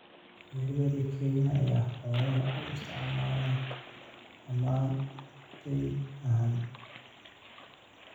Beeralayda Kenya ayaa xoolaha u isticmaala dammaanad deyn ahaan.